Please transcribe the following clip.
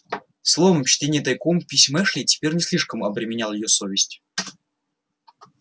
словом чтение тайком писем эшли теперь не слишком обременял её совесть